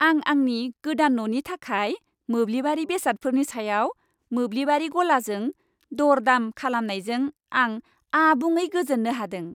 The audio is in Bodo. आं आंनि गोदान न'नि थाखाय मोब्लिबारि बेसादफोरनि सायाव मोब्लिबारि गलाजों दर दाम खालामनायजों आं आबुङै गोजोननो हादों।